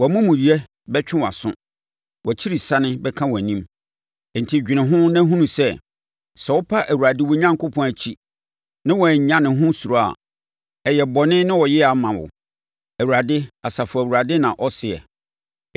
Wo amumuyɛ bɛtwe wʼaso; wʼakyirisane bɛka wʼanim. Enti dwene ho na hunu sɛ, sɛ wopa Awurade wo Onyankopɔn akyi na woannya ne ho suro a, ɛyɛ bɔne ne ɔyea ma wo.” Awurade, Asafo Awurade na ɔseɛ.